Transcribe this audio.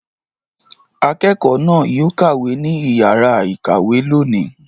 Akẹ́kọ̀ọ́ náà yóò kàwé ní ìyàrá-ìkàwé lónìí.